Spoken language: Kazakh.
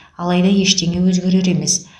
алайда ештеңе өзгерер емес